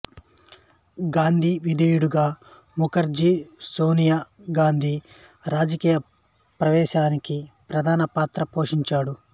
గాంధీ విధేయుడిగా ముఖర్జీ సోనియా గాంధీ రాజకీయ ప్రవేశానికి ప్రధాన పాత్ర పోషించాడు